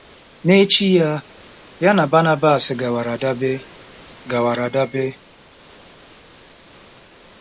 “N'echi ya, ya na Banabas gawara Dabe gawara Dabe.